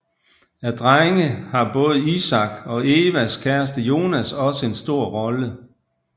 Af drenge har både Isak og Evas kæreste Jonas også en stor rolle